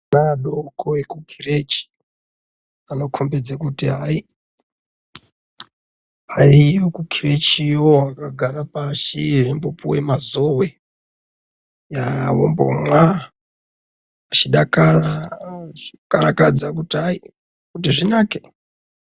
Ana adoko ekukirechi anokombidze kuti hayi ariyo kukirechiyo akagara pashi eimbopuwe mazowe eya vombomwa eikarakadza kuti hayi, kuti zvinake.